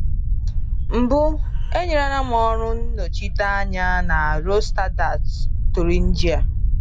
Mbụ, enyerela m ọrụ nnọchiteanya na Rudolstadt, Thuringia.